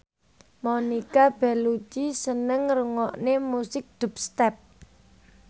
Monica Belluci seneng ngrungokne musik dubstep